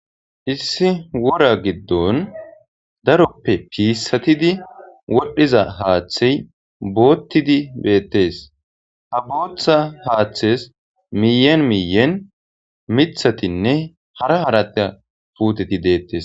Issi wora giddon daroppe piissatidi wodhdhiza haaththey boottidi beettes ha booththa haaththes miyen miyen mithatinne hara harata puuteti deettes.